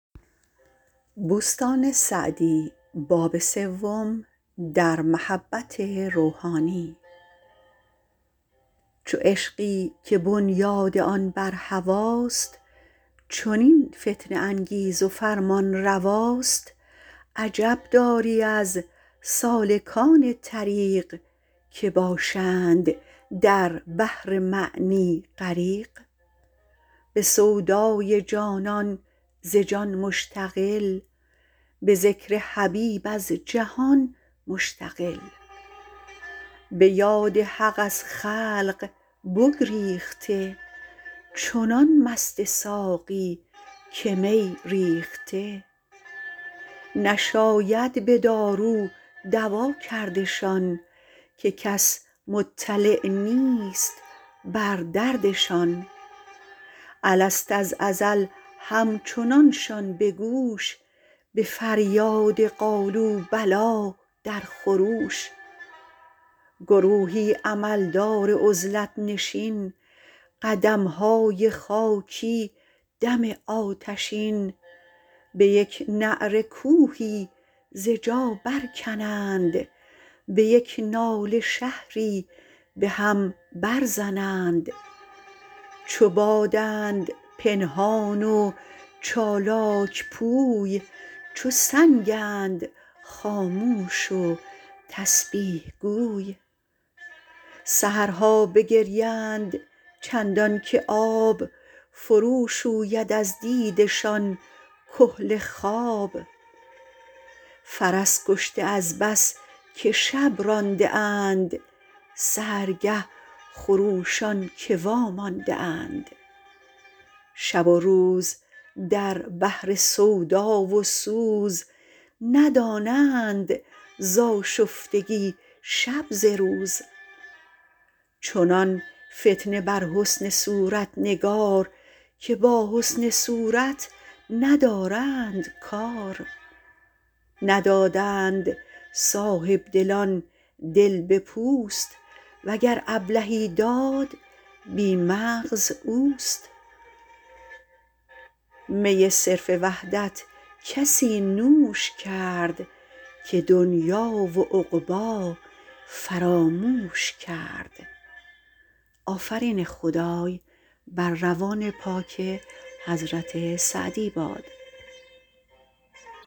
چو عشقی که بنیاد آن بر هواست چنین فتنه انگیز و فرمانرواست عجب داری از سالکان طریق که باشند در بحر معنی غریق به سودای جانان به جان مشتغل به ذکر حبیب از جهان مشتغل به یاد حق از خلق بگریخته چنان مست ساقی که می ریخته نشاید به دارو دوا کردشان که کس مطلع نیست بر دردشان الست از ازل همچنانشان به گوش به فریاد قالوا بلی در خروش گروهی عمل دار عزلت نشین قدمهای خاکی دم آتشین به یک نعره کوهی ز جا بر کنند به یک ناله شهری به هم بر زنند چو بادند پنهان و چالاک پوی چو سنگند خاموش و تسبیح گوی سحرها بگریند چندان که آب فرو شوید از دیده شان کحل خواب فرس کشته از بس که شب رانده اند سحرگه خروشان که وامانده اند شب و روز در بحر سودا و سوز ندانند ز آشفتگی شب ز روز چنان فتنه بر حسن صورت نگار که با حسن صورت ندارند کار ندادند صاحبدلان دل به پوست وگر ابلهی داد بی مغز اوست می صرف وحدت کسی نوش کرد که دنیا و عقبی فراموش کرد